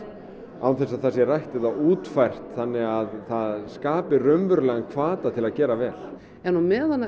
án þess að það sé rætt eða útfært þannig að það skapi raunverulegan hvata til að gera vel á meðan að